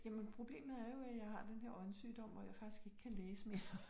Jamen problemet er jo at har den her øjensygdom og jeg faktisk ikke kan læse mere